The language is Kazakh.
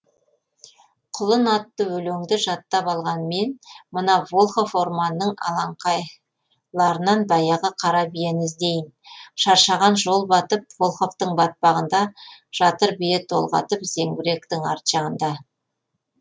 құлын атты өлеңді жаттап алған мен мына волхов орманының алаңқайларынан баяғы қара биені іздейін шаршаған жол батып волховтың батпағында жатыр бие толғатып зеңбіректің арт жағында